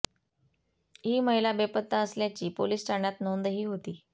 ही महिला बेपत्ता असल्याची पोलीस ठाण्यात नोंदही होती